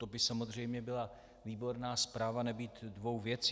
To by samozřejmě byla výborná zpráva nebýt dvou věcí.